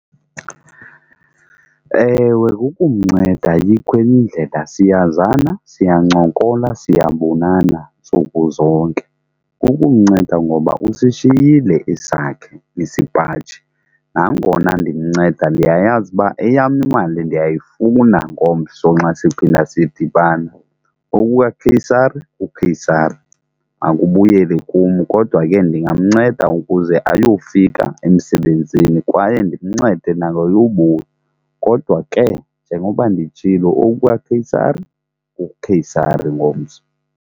Ewe, kukumnceda ayikho enyindlela siyazana, siyancokola, siyabonana ntsuku zonke, kukumnceda ngoba usishiyile esakhe isipaji nangona ndimnceda, ndiyayazi uba eyam imali ndiyayifuna ngomso nxa siphinda sidibana oku kwaKheyisari kuKheyisari makabuyele kum. Kodwa ke ndingamnceda ukuze ayofika emsebenzini kwaye ndimncede nangeyobuya kodwa ke njengoba nditshilo oku kwaKheyisari kuKheyisari ngomso.